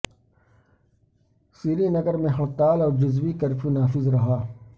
سری نگر میں ہڑتال اور جزوی کرفیو نافذ رہا